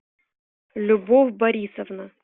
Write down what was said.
любовь борисовна